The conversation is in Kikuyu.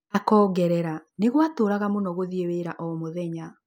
Akoongerera; ‘’nĩgwatuuraga mũno gũthiĩ wĩra o-mũthenya’’